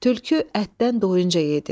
Tülkü ətdən doyunca yedi.